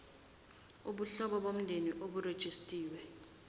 ubuhlobo bomndeni oburejistiwe